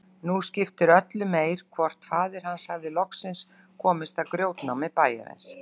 Nú skipti öllu meir hvort faðir hans hafði loksins komist að í grjótnámi bæjarins.